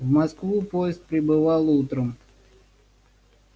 в москву поезд прибывал утром